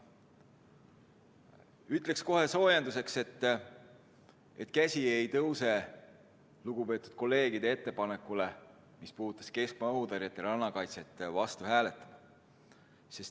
Ütlen kohe soojenduseks, et käsi ei tõuse lugupeetud kolleegide ettepanekule, mis puudutas keskmaa õhutõrjet ja rannakaitset, vastu hääletama.